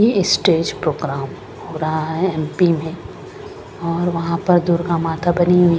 ये stage programme रहा है एम_पी में और वहां पर दुर्गा माता बनी हुई।